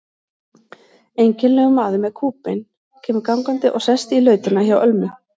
Einkennilegur maður með kúbein kemur gangandi og sest í lautina hjá Ölmu.